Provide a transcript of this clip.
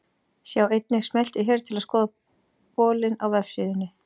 Sjá einnig: Smelltu hér til að skoða bolinn á vefsíðunni.